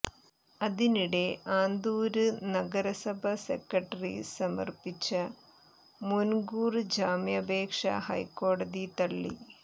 അതിനിടെ ആന്തൂര് നഗരസഭ സെക്രട്ടറി സമര്പ്പിച്ച മുന് കൂര് ജാമ്യാപേക്ഷ ഹൈക്കോടതി തള്ളി